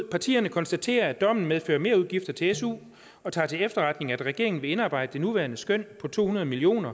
partierne konstaterer at dommen medfører merudgifter til su og tager til efterretning at regeringen vil indarbejde det nuværende skøn på to hundrede million